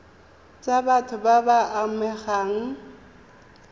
tsa batho ba ba amegang